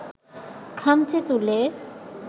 খামচে তুলে